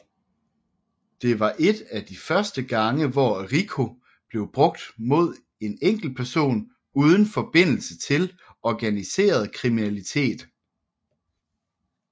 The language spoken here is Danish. Det var et af de første gange hvor RICO blev brugt mod en enkeltperson uden forbindelse til organiseret kriminalitet